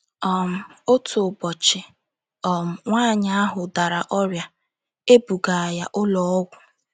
um Otu ụbọchị, um nwaanyị ahụ dara ọrịa, e buga ya ụlọ ọgwụ.